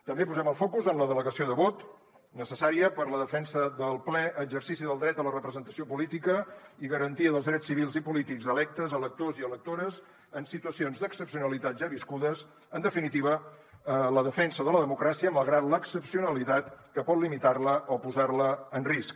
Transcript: també posem el focus en la delegació de vot necessària per a la defensa del ple exercici del dret a la representació política i garantia dels drets civils i polítics electes electors i electores en situacions d’excepcionalitat ja viscudes en definitiva la defensa de la democràcia malgrat l’excepcionalitat que pot limitar la o posar la en risc